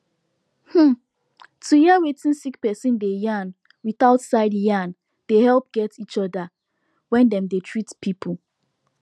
um to hear wetin sick person dey yarn without side yarn dey helep get each other when dem dey treat people